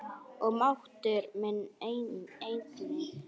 Og máttur minn einnig.